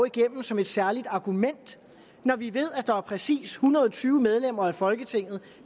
igennem som et særligt argument når vi ved at der er præcis en hundrede og tyve medlemmer af folketinget